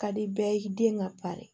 Ka di bɛɛ ye den ka pari